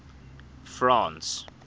france